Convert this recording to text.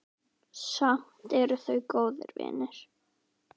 Samt eru þau góðir vinir.